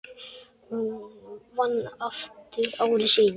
Hún vann aftur ári síðar.